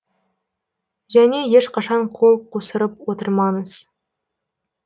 және ешқашан қол қусырып отырмаңыз